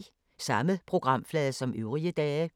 Samme programflade som øvrige dage